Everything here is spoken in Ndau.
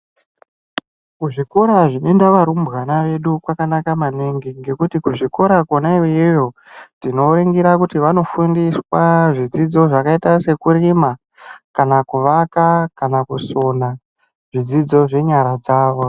Kuzvikora zvinoenda varumbwana vedu kwakanaka maningi ngekuti kuzvikora kwonaiyeyo tinovengera kuti vanofundiswaa zvidzidzo zvakaita sekurima kana kuvaka .